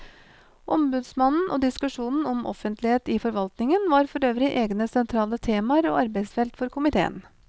Ombudsmannen og diskusjonen om offentlighet i forvaltningen var forøvrig egne sentrale temaer og arbeidsfelt for komiteen.